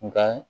Nka